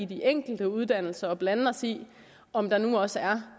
de enkelte uddannelser og blande os i om der nu også